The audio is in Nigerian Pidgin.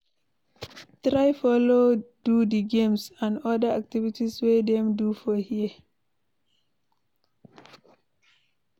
Try follow do di games and other activities wey dem do for there